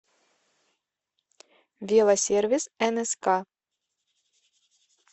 велосервис нск